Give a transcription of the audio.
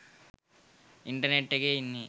Internet එකේ ඉන්නේ.